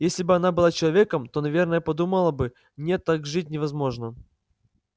если бы она была человеком то наверное подумала бы нет так жить невозможно